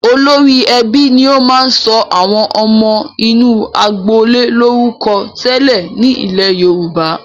Olórí ẹbí ni ó máa ń sọ àwọn ọmọ inú agboolé lórúkọ tẹ́lẹ̀ nílẹ̀ Yorùbá.